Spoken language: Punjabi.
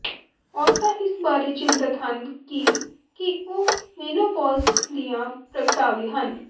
ਔਰਤਾਂ ਇਸ ਬਾਰੇ ਚਿੰਤਤ ਹਨ ਕਿ ਕੀ ਉਹ ਮੇਨੋਪੌਜ਼ ਦੀਆਂ ਪ੍ਰਗਟਾਵੇ ਹਨ